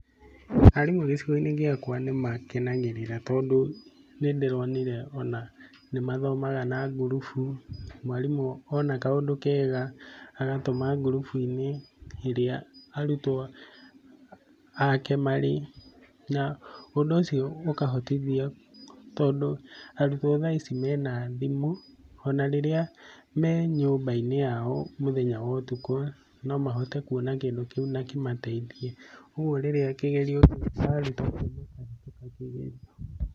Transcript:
Arimũ gĩcigo-inĩ gĩakwa nĩ makenagĩrĩra tondũ nĩ ndĩronire ona nĩ mathomaga na ngurubu. Mwarimũ ona kaũndũ kega agatũma ngurubbu-inĩ irĩa arutwo ake marĩ. Na ũndũ ũcio ũkahotithio tondũ arutwo thaa ici mena thimũ. Ona rĩrĩa me nyũmba-inĩ yao mũthenya wa ũtukũ, no mahote kuona kĩndũ kĩu na kĩmateithie. Ũguo rĩrĩa kĩgerio gĩekwo arutwo makahĩtũka kĩgerio.